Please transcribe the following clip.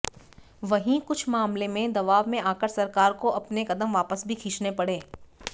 वहीं कुछ मामले में दबाव में आकर सरकार को अपने कदम वापस भी खींचने पड़े